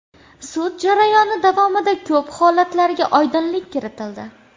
Sud jarayoni davomida ko‘p holatlarga oydinlik kiritildi.